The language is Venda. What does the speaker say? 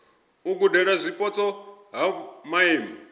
u gudela zwipotso ha maimo